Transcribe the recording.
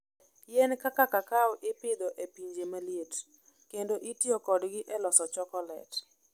Yien kaka kakao ipidho e pinje ma liet, kendo itiyo kodgi e loso chokolet.